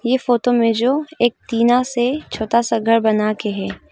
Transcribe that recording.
ये फोटो में जो एक टीना से छोटा सा घर बना के है।